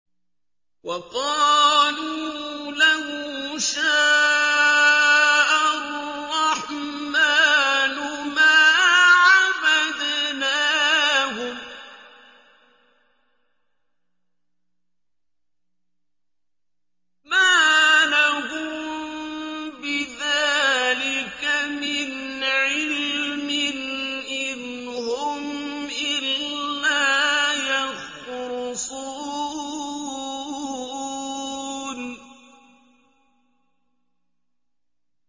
وَقَالُوا لَوْ شَاءَ الرَّحْمَٰنُ مَا عَبَدْنَاهُم ۗ مَّا لَهُم بِذَٰلِكَ مِنْ عِلْمٍ ۖ إِنْ هُمْ إِلَّا يَخْرُصُونَ